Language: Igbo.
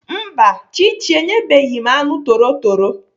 Mba, Chichi enyebeghị m anụ torotoro.